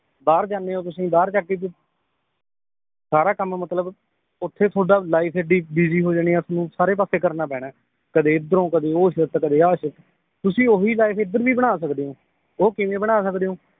ਬਾਹਰ ਜਾਨੇ ਓ ਤੁਸੀਂ ਬਾਹਰ ਜਾਕੇ ਕੀ ਸਾਰਾ ਕੰਮ ਮਤਲਬ ਓਥੇ ਤੁਹਾਡਾ ਲਾਈਫ ਏਡੀ busy ਹੋਜਾਣੀ ਏ ਆਪਨੂੰ ਸਾਰੇ ਪਾਸੇ ਕਰਨਾ ਪੈਣਾ ਏ ਕਦੇ ਏਧਰੋਂ ਕਦੇ ਉਹ ਸਿੱਖ ਤੇ ਕਦੇ ਆਹ ਸਿੱਖ ਤੁਸੀ ਓਹੀ ਲਾਈਫ ਏਧਰ ਵੀ ਬਣਾ ਸਕਦੇ ਓ ਉਹ ਕਿਵੇਂ ਬਣਾ ਸਕਦੇ ਓ